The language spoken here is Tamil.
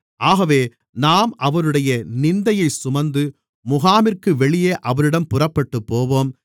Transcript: ஆகவே நாம் அவருடைய நிந்தையைச் சுமந்து முகாமிற்கு வெளியே அவரிடம் புறப்பட்டுப் போவோம்